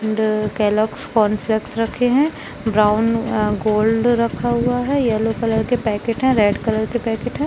and Kellogg's cornflakes रखे है brown gold रखा हुवा है येलो कलर के पैकेट है रेड कलर के पैकेट है